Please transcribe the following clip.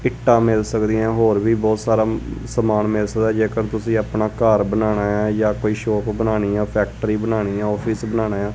ਇੱਟਾਂ ਮਿਲ ਸਕਦੀਆਂ ਹੋਰ ਵੀ ਬਹੁਤ ਸਾਰਾ ਸਮਾਨ ਮਿਲ ਸਕਦਾ ਜੇਕਰ ਤੁਸੀਂ ਆਪਣਾ ਘਰ ਬਣਾਉਣਾ ਆ ਜਾਂ ਕੋਈ ਸ਼ੋਪ ਬਣਾਉਣੀ ਆ ਫੈਕਟਰੀ ਬਣਾਉਣੀ ਆ ਆਫਿਸ ਬਣਾਉਣਾ ਆ।